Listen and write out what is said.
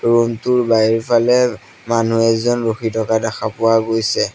Room টোৰ বাহিৰফালে মানুহ এজন ৰখি থকা দেখা পোৱা গৈছে।